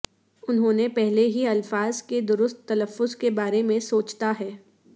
انہوں نے پہلے ہی الفاظ کے درست تلفظ کے بارے میں سوچتا ہے